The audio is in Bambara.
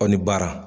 Aw ni baara